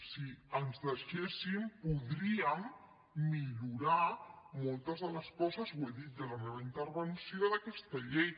si ens deixessin podríem millorar moltes de les coses ho he dit ja en la meva intervenció d’aquesta llei